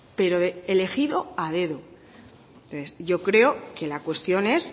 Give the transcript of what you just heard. pero elegido a dedo yo creo que la cuestión es